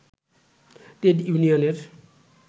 trade ইউনিয়নের